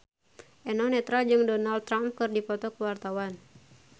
Eno Netral jeung Donald Trump keur dipoto ku wartawan